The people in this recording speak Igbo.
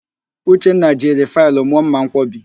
Uchenna jiri faịlụ mụọ mmanwkọbi